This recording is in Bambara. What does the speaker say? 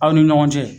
Aw ni ɲɔgɔn cɛ